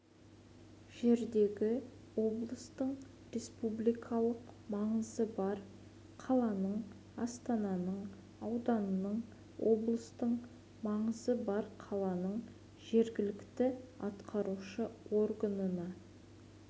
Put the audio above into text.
жердегі облыстың республикалық маңызы бар қаланың астананың ауданның облыстық маңызы бар қаланың жергілікті атқарушы органына